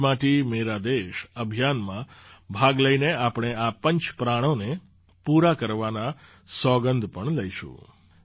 મેરી માટી મેરા દેશ અભિયાનમાં ભાગ લઈને આપણે આ પંચ પ્રાણોને પૂરા કરવાના સોગંદ પણ લઈશું